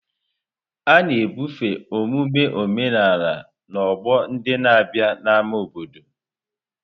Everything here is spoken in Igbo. A na-ebufe omume omenala n'ọgbọ ndị na-abịa n'ámá obodo.